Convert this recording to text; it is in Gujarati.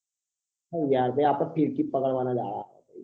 શું યાર આપડે ફીરકી પકડવા ના જ જહા હા